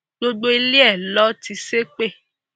gbogbo ilé ẹ ló ti ṣe pé